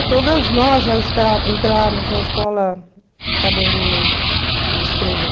É, todos nós já na escola sabendo ler e escrever.